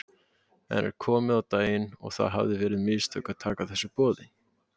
En er komið á daginn að það hafi verið mistök að taka þessu boði?